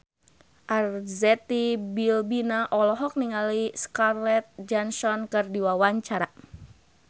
Arzetti Bilbina olohok ningali Scarlett Johansson keur diwawancara